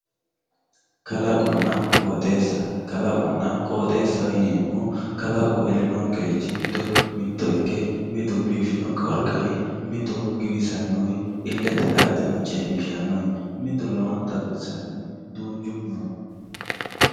Kaloqona qooxxeesa kalaqona qooxxeesaho yinemohu kalaqu elinonkerichi giddo mitto ike mittu biifino qarqar mittu giwisanowi ilete la`ateno ceemishano mittu lowonta baxisani duuchu no